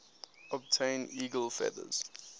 obtain eagle feathers